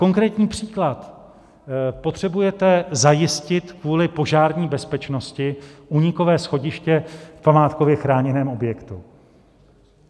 Konkrétní příklad: Potřebujete zajistit kvůli požární bezpečnosti únikové schodiště v památkově chráněném objektu.